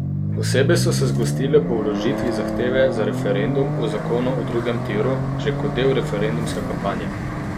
Posebej so se zgostile po vložitvi zahteve za referendum o zakonu o drugem tiru, že kot del referendumske kampanje.